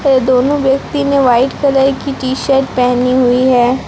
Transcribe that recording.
ये दोनों व्यक्ति ने व्हाइट कलर की टी शर्ट पहनी हुई है।